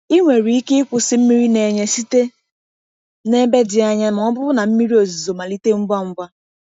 Ị nwere ike ịkwụsị mmiri na-enye site na ebe dị anya ma ọ bụrụ na mmiri ozuzo malite ngwa ngwa.